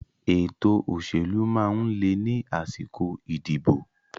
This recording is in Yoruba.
Ètò òṣèlú máa ń le ni àsìkò ìdìbò